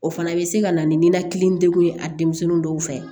O fana bɛ se ka na ni ninakili degun ye a denmisɛnnin dɔw fɛ